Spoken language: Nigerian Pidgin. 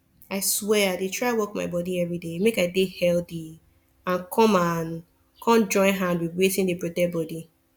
i swear i dey try work my body everyday make i dey healthy and come and come join hand with wetin dey protect bodi